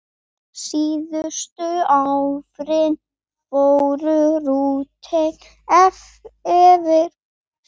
Síðustu árin voru Ruth erfið.